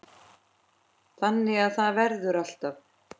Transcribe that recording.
Þannig að það verður alltaf.